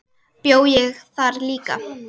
Bjó ég þar líka?